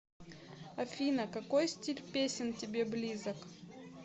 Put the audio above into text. афина какой стиль песен тебе близок